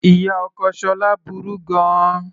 Ìyá ọkọ Shila burú gan-an.